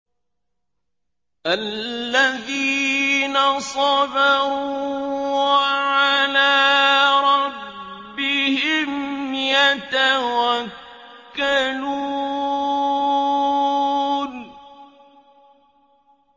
الَّذِينَ صَبَرُوا وَعَلَىٰ رَبِّهِمْ يَتَوَكَّلُونَ